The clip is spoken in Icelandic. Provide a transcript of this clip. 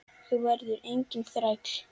Þú verður enginn þræll.